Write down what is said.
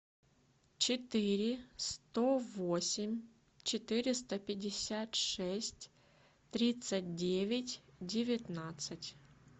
четыре сто восемь четыреста пятьдесят шесть тридцать девять девятнадцать